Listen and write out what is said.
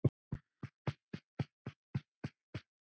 Elska þig mest.